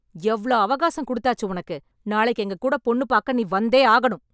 எவ்ளோ அவகாசம் கொடுத்தாச்சு உனக்கு, நாளைக்கு எங்க கூட பொண்ணு பாக்க நீ வந்தே ஆகணும்.